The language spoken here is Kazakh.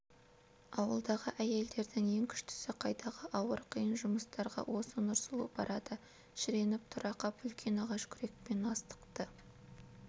ауылдағы әйелдердің ең күштісі қайдағы ауыр қиын жұмыстарға осы нұрсұлу барады шіреніп тұра қап үлкен ағаш күрекпен астықты